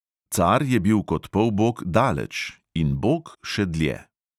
Car je bil kot polbog daleč in bog še dlje.